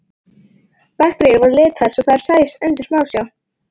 Bakteríur voru litaðar svo þær sæjust undir smásjá.